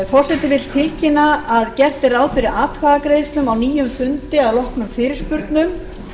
forseti vill tilkynna að gert er ráð fyrir atkvæðagreiðslum á nýjum fundi að loknum fyrirspurnum